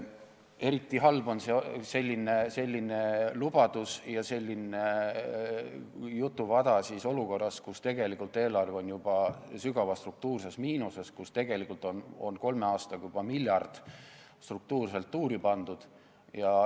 Eriti halb on selline lubadus ja selline jutuvada olukorras, kus eelarve on juba sügavas struktuurses miinuses, kus kolme aastaga on juba miljard struktuurselt tuuri pandud.